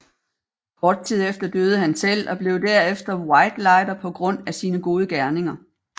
Kort tid efter døde han selv og blev derefter whitelighter på grund af sine gode gerninger